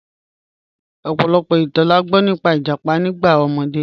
Ọ̀pọ̀lọ̀pọ̀ ìtàn là gbọ nípà ìjápá nígbà omọdé.